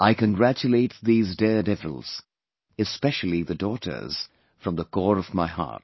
I congratulate these daredevils, especially the daughters from the core of my heart